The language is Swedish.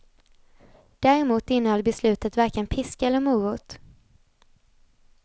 Däremot innehöll beslutet varken piska eller morot.